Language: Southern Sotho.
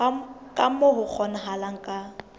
ka moo ho kgonahalang ka